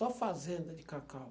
Só fazenda de cacau.